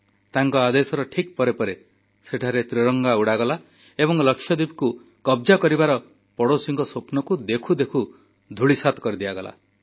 ତାଙ୍କ ଆଦେଶର ଠିକ୍ ପରେ ପରେ ସେଠାରେ ତ୍ରିରଙ୍ଗା ଉଡ଼ାଗଲା ଏବଂ ଲାକ୍ଷାଦ୍ୱୀପକୁ କବ୍ଜା କରିବାର ପଡ଼ୋଶୀଙ୍କ ସ୍ୱପ୍ନକୁ ଦେଖୁ ଦେଖୁ ଧୂଳିସାତ୍ କରିଦିଆଗଲା